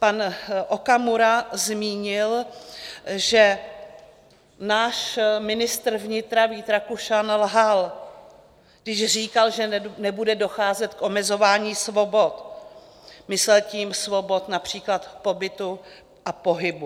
Pan Okamura zmínil, že náš ministr vnitra Vít Rakušan lhal, když říkal, že nebude docházet k omezování svobod, myslel tím svobod například pobytu a pohybu.